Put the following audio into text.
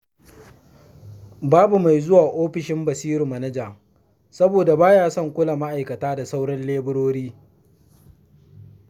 Babu mai zuwa ofishin Basiru manaja, soboda ba ya son kula ma'aikata da sauran leburori.